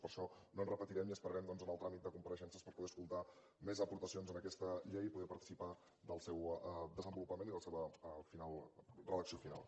per això no ens repetirem i esperarem doncs el tràmit de compareixences per poder escoltar més aportacions a aquesta llei i poder participar del seu desenvolupament i la seva redacció final